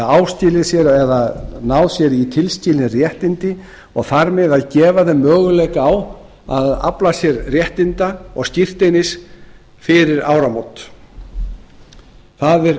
áskilið sér eða náð sér í tilskilin réttindi og þar með að gefa þeim möguleika á að afla sér réttinda og skírteinis fyrir áramót það